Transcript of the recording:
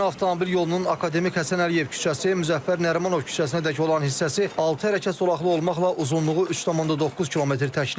Yeni avtomobil yolunun Akademik Həsən Əliyev küçəsi, Müzəffər Nərimanov küçəsinədək olan hissəsi altı hərəkət zolaqlı olmaqla uzunluğu 3,9 km təşkil edəcək.